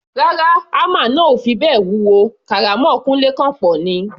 Rárá, hámà náà ò fi bẹ́ẹ̀ wúwo, kàrámọ̀ Kúńlé kọ̀ pọ̀ ni.